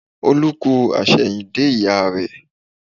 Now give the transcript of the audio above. Olú kú àsẹ̀yìndè ìyá rẹ